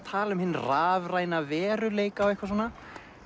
tala um hinn rafræna veruleika og eitthvað svona